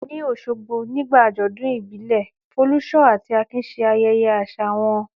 Ní Òṣogbo, nígbà àjọ̀dún ìbílẹ̀, Folúṣọ́ àti Akin ṣe ayẹyẹ àṣà wọn.